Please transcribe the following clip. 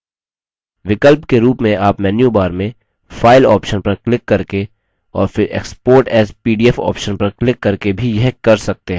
विकल्प के रूप में आप menu bar में file option पर क्लिक करके और फिर export as pdf option पर क्लिक करके भी यह कर सकते हैं